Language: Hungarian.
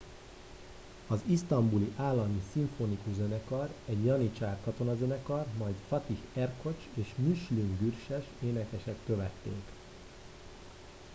az isztambuli állami szimfonikus zenekar egy janicsár katonazenekar majd fatih erkoç és müslüm gürses énekesek követték